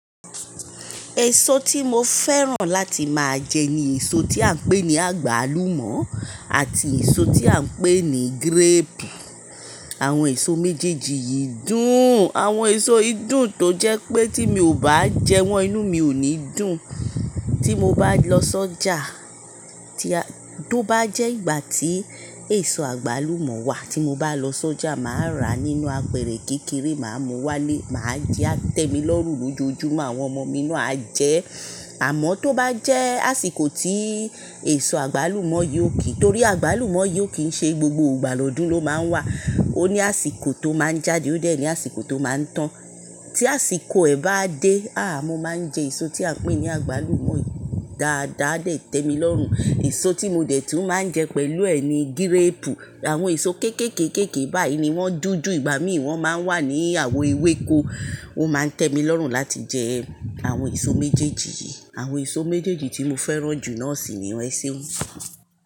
Èso tí mo fẹ́ràn láti máa jẹ ni èso tí à ń pè ní àgbálùmọ́ àti èso tí à ń pè ní gíréèpù. Àwọn èso méjèèjì yìí dùn. Àwọn èso yi dùn tó jẹ́ pé tí mi ò bá jẹ wọ́n inú mi ò ní dùn. Tí mo bá lọ sójà, tí a-- tó bá jẹ́ ìgbà tí èso àgbálùmọ́ wà tí mo bá lọ sójà màá rà nínú apẹ̀rẹ̀ kékeré, màá mú wá lé, màá jẹ, á tẹ́ mi lọ́rùn lójoojúmọ́ àwọn ọmọ mi náà á jẹ ẹ. Àmọ́ tó bá jẹ́ àsìkò tí èso àgbálùmọ́ yiò kì í, torí àgbálùmọ́ yi ò kì í ṣe gbogbo ìgbà lọ́dun ló máa ń wà. Ó ní àsìkò tó máa ń jáde, ó dẹ̀ ní àsìkò tó máa ń tán. Tí àsìkò ẹ̀ bá dé, àáàh! Mo máa ń jẹ èso tí a ń pè ní àgbálùmọ́ yìí. Daadaa a dẹ̀ tẹ́ mi lọ́rùn. Èso tí mo dẹ̀ tún máa ń jẹ pẹ̀lú ẹ̀ ni gíréèpù. Àwọn èso kéékèéké báyìí ni wọ́n dúdú, ìgbà mi wọ́n máa ń wà ní àwo ewéko. Ó máa ń tẹ́ mi lọ́rùn láti jẹ àwọn èso méjèèjì yìí. Àwọn èso méjèèjì tí mo fẹ́ràn jù noọ̀ṣì nii eseun.